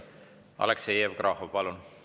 Aleksei Jevgrafov, palun!